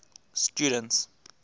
students